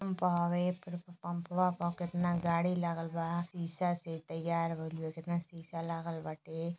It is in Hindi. पम्प हवे। पेट्रोल पंप पर कितना गाड़ी लागल बा। शीशा से तैयार भइल बा। केतना शीशा लागल बाटे।